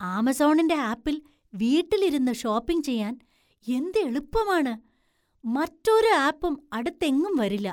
ആമസോണിൻ്റെ ആപ്പിൽ വീട്ടിൽ ഇരുന്ന് ഷോപ്പിംഗ് ചെയ്യാൻ എന്ത് എളുപ്പമാണ്; മറ്റൊരു ആപ്പും അടുത്തെങ്ങും വരില്ല!